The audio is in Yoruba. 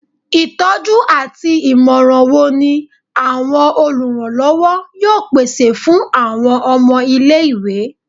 Itọju ati imọran wo ni awọn oluranlọwọ yoo pese fun awọn ọmọ ile-iwe?